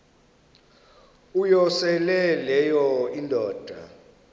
uyosele leyo indoda